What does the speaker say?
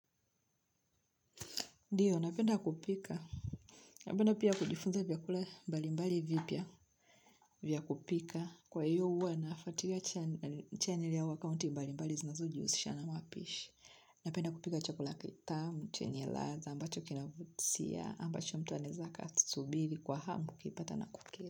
Ndiyo napenda kupika. Napenda pia kujifunza vyakula mbali mbali vipya vya kupika. Kwa hiyo huwa nafuatilia channel au akaunti mbali mbali zinazojihusisha na mapishi. Napenda kupika chakula kitamu chenye ladha amabacho kinavutia amabcho mtu anaweza akasubiri kwa hamu akipata na kukila.